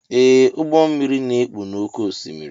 Ee ụgbọ mmiri na ekpu n'ókè osimiri.